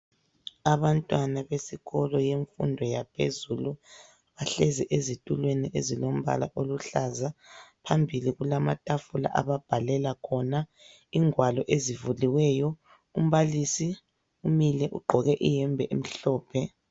Abantwana besikolo yemfundo yaphezulu bahlezi ezitulweni ezilombala oluhlaza. Phambili kulamatafula ababhalela khona, ingwalo ezivuliweyo. Umbalisi umile ugqoke iyembe emhlophe.